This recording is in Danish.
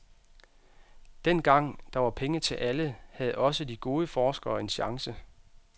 Dengang, der var penge til alle, havde også de gode forskere en chance.